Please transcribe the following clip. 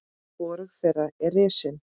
Hvorug þeirra er risin.